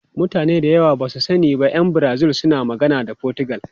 Mutane da yawa ba su sani ba, ’yan Brazil suna magana da Fotigal.